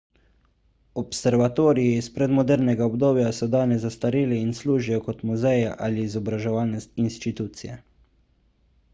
observatoriji iz predmodernega obdobja so danes zastareli in služijo kot muzeji ali izobraževalne institucije